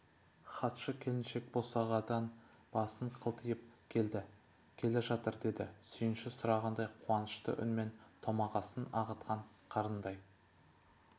хатшы келіншек босағадан басын қылтитып келді келе жатыр деді сүйінші сұрағандай қуанышты үнмен томағасын ағытқан қырандай